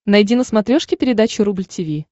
найди на смотрешке передачу рубль ти ви